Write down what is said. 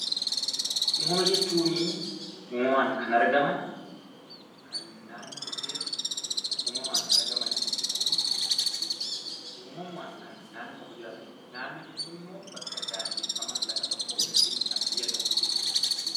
Uumama jechuun naannoo tokko keessatti uumamaan kan argamanii fi jiraatanidha. Naannoo jechuun bakka daangeffamaa bakka tokko yookiin kan biyya tokkoo jechuudha.